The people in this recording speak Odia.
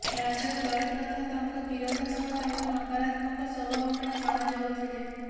ରାଜା ଜୟଦ୍ରଥ ତାଙ୍କ ବୀରତା ସହ ତାଙ୍କ ନକାରାତ୍ମକ ସ୍ୱଭାବ ପାଇଁ ଜଣାଯାଉଥିଲେ